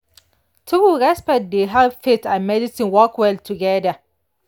true respect dey help faith and medicine work well together.